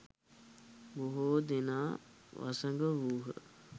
බොහෝ දෙනා වසඟ වූහ